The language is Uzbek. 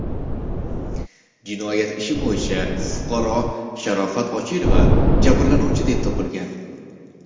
Jinoyat ishi bo‘yicha fuqaro Sharofat Ochilova jabrlanuvchi deb topilgan.